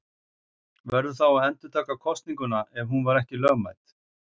Verður þá að endurtaka kosninguna ef hún var ekki lögmæt.